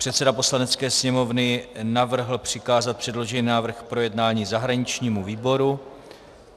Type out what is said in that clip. Předseda Poslanecké sněmovny navrhl přikázat předložený návrh k projednání zahraničnímu výboru.